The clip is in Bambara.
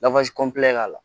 la